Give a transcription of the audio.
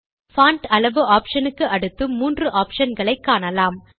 font அளவு option க்கு அடுத்து மூன்று ஆப்ஷன் களை காணலாம்